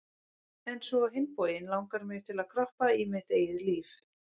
En svo á hinn bóginn langar mig til að kroppa í mitt eigið líf